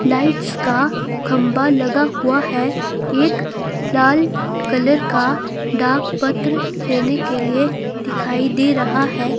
Lights का खंभा लगा हुआ है एक लाल कलर का डाक पत्र देने के लिए दिखाई दे रहा है।